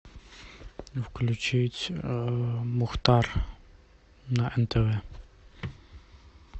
включить мухтар на нтв